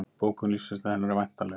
Bók um lífsreynslu hennar er væntanleg